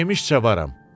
Yemişcə varam.